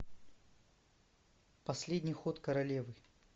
последний ход королевы